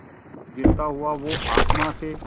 गिरता हुआ वो आसमां से